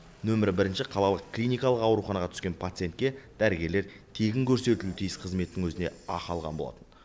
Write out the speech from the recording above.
нөмір бірінші қалалық клиникалық ауруханаға түскен пациентке дәрігерлер тегін көрсетілуі тиіс қызметтің өзіне ақы алған болатын